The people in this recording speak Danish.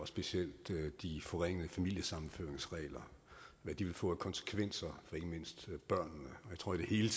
specielt de forringede familiesammenføringsregler og hvad de vil få af konsekvenser for ikke mindst børnene jeg tror i det hele